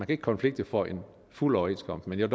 kan konflikte for en fuld overenskomst men jeg